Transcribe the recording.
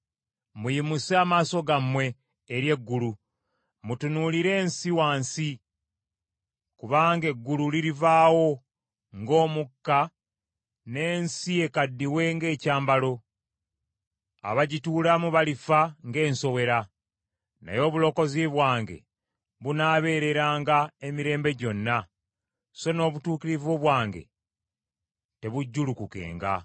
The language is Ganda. Muyimuse amaaso gammwe eri eggulu, mutunuulire ensi wansi! Kubanga eggulu lirivaawo ng’omukka n’ensi ekaddiwe ng’ekyambalo. Abagituulamu balifa ng’ensowera. Naye obulokozi bwange bunaabeereranga emirembe gyonna, so n’obutuukirivu bwange tebujjulukukenga.